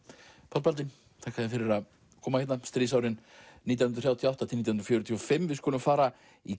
Páll Baldvin þakka þér fyrir að koma stríðsárin nítján hundruð þrjátíu og átta til nítján fjörutíu og fimm við skulum fara í